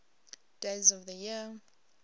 days of the year